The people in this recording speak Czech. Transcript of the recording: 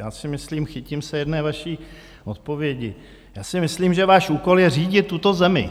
Já si myslím - chytím se jedné vaší odpovědi - já si myslím, že váš úkol je řídit tuto zemi,